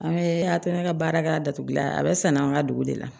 An bɛ a tɛ ne ka baarakɛ datugulan a bɛ san an ka dugu de la